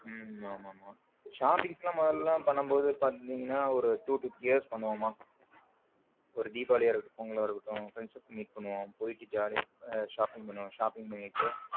உம் ஆமா ஆமா shopping எல்லாம் முதல்ல பண்ணும் போது பாத்தீங்கன்னா ஒரு two two three years பண்ணுவோமா ஒரு தீபாவளியாக இருக்கட்டும் பொங்கல் இருக்கட்டும் friends meet பண்ணுவோம் போயிட்டு jolly யா shopping பண்ணுவோம் shopping பண்ணிட்டு.